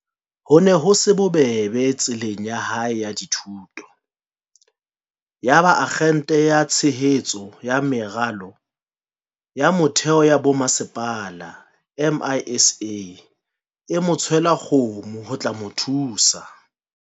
Ho ne ho se bobebe tseleng ya hae ya dithuto. Yaba Akgente ya Tshehetso ya Meralo ya Mo-theo ya Bomasepala, MISA, e mo tswela kgomo ho tla mo thusa.